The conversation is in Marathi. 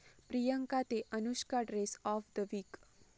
प्रियांका ते अनुष्का...'ड्रेस्स ऑफ द विक'